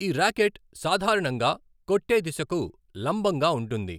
ఈ ర్యాకెట్ సాధారణంగా కొట్టే దిశకు లంబంగా ఉంటుంది.